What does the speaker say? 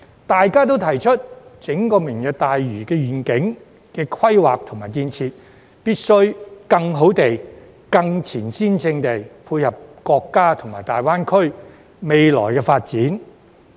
大家都提出，整個"明日大嶼願景"規劃及建設，必須更好地、更前瞻性配合國家和大灣區未來的發展。